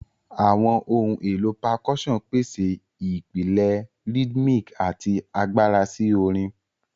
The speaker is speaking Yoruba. Awọn ohun elo Percussion pese ipilẹ rhythmic ati agbara si orin.